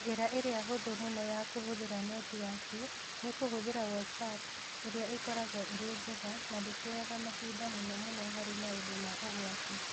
Njĩra ĩrĩa hũthũ mũno ya kũhũthĩra netiwaki nĩ kũhũthĩra WhatsApp ĩrĩa ĩkoragwo ĩrĩ njega na ndĩteaga mahinda mũno mũno harĩ maũndũ ma ũgwati.